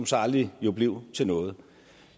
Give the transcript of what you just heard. så aldrig blev til noget